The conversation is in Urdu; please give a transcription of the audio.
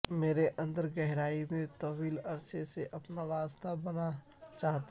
میرے اندر گہرائی میں طویل عرصے سے اپنا راستہ رہنا چاہتا ہوں